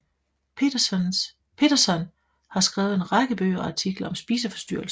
Petersson har skrevet en række bøger og artikler om spiseforstyrrelser